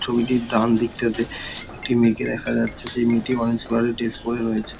ছবিটির ডান দিকটাতে একটি মেয়েকে দেখা যাচ্ছে যে মেয়েটি অরেঞ্জ কালার -এর ড্রেস পরে রয়েছে।